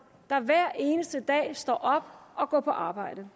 der hver eneste dag står op og går på arbejde